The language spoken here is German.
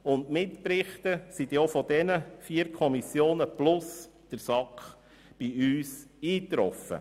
Mitberichte trafen von diesen vier Kommissionen sowie von der SAK ein.